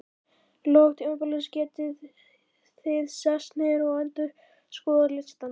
lok tímabilsins getið þið sest niður og endurskoðað listann.